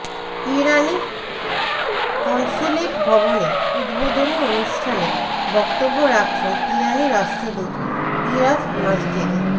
ইরানি consulate ভবনের উদ্বোধনি অনুষ্ঠানে বক্তব্য রাখছেন ইরানি রাষ্ট্রদূত ইরাজ মাসজেদি